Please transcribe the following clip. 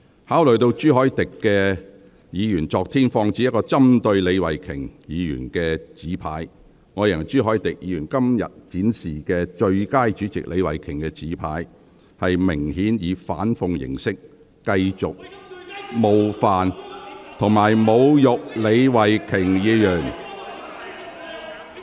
考慮到朱凱廸議員昨天曾放置一個針對李慧琼議員的紙牌，我認為朱凱廸議員今天展示寫有"最佳主席李慧琼"字句的紙牌，明顯是以反諷形式繼續冒犯及侮辱李慧琼議員。